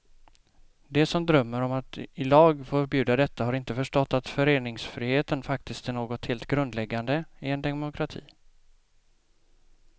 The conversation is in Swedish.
De som drömmer om att i lag förbjuda detta har inte förstått att föreningsfriheten faktiskt är något helt grundläggande i en demokrati.